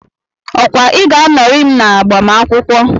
Okwa Ị ga-anọrị m n'agbamakwụkwọ?